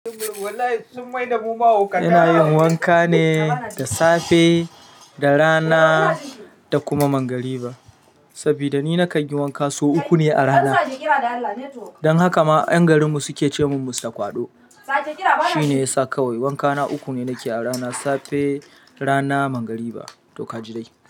Ina yin wanka ne da safe, da rana da kuma magriba. Saboda ni na kan yi wanka sau uku ne a rana. Dan haka ma 'yan garin mu suke ce mun musta kwaɗo. Shi ne ya sa kawai wankana uku ne nake a rana, safe, rana, magriba. To ka ji dai.